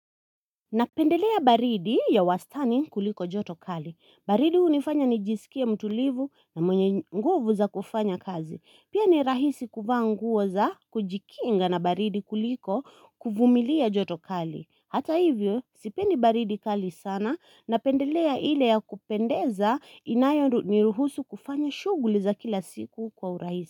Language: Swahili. Napendelea baridi ya wastani kuliko joto kali. Baridi unifanya nijisikie mtulivu na mwenye nguvu za kufanya kazi. Pia ni rahisi kuvaa nguo za kujikinga na baridi kuliko kuvumilia joto kali. Hata hivyo, sipendi baridi kali sana. Napendelea ile ya kupendeza inayoniruhusu kufanya shuguli za kila siku kwa urahisi.